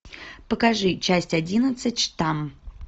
покажи часть одиннадцать штамм